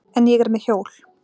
En ég er með hjól.